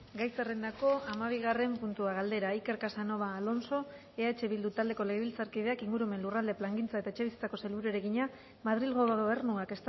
gai zerrendako hamabigarren puntua galdera iker casanova alonso eh bildu taldeko legebiltzarkideak ingurumen lurralde plangintza eta etxebizitzako sailburuari egina madrilgo gobernuak